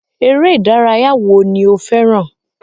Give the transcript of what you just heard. Eré ìdárayá wo ni o fẹràn?